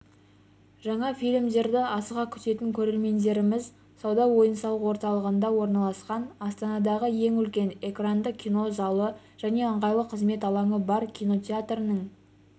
жаңа фильмдерді асыға күтетін көрермендеріміз сауда ойын-сауық орталығында орналасқан астанадағы ең үлкен экранды кино залы және ыңғайлы қызмет алаңы бар кинотеатрының